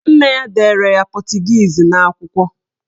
Nne ya dere ya pọtụgiizi n'akwụkwọ.